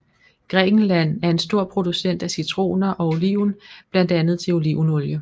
Grækenland er en stor producent af citroner og oliven blandt andet til olivenolie